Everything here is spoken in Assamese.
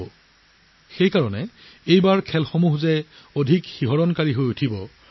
ইয়াৰ পৰা আপোনালোকে অনুমান কৰিব পাৰে যে এইবাৰ আমি ক্ৰীড়াৰ বিভিন্ন স্তৰৰ ৰোমাঞ্চ দেখিবলৈ পাম